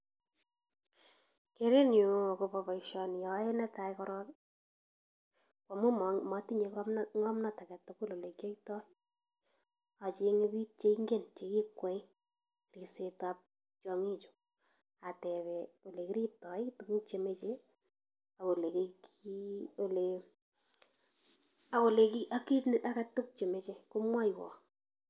Kerenyu agobo boisioni aae netai korok, koamu ma matinye ng'omno ng'omnot alak tugul ole kiyoitoi, acheng'e biik cheingen chegikwai ribsetab tiong'ichu atebe ole kiribtoi, tuguk chemeche ak ole ki, ole ak ole ak kit age tugul chemeche komwoiwo.